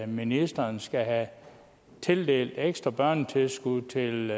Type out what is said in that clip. ministeren skal tildele ekstra børnetilskud til